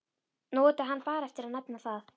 Nú átti hann bara eftir að nefna það.